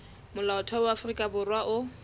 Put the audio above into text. molaotheo wa afrika borwa o